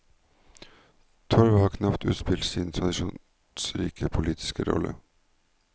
Torvet har knapt utspilt sin tradisjonsrike politiske rolle.